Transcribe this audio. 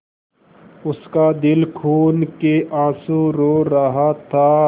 उसका दिल खून केआँसू रो रहा था